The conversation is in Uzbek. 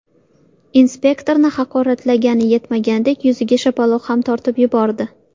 Inspektorni haqoratlagani yetmaganidek, yuziga shapaloq ham tortib yubordi.